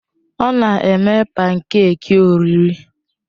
Ọ na-eme pankèki oriri.